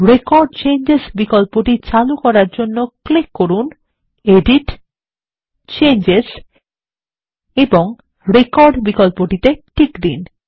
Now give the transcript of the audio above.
record changes বিকল্পটি চালু করার জন্য ক্লিক করুন → এডিট → চেঞ্জেস এবং রেকর্ড বিকল্পটিতে টিক দিন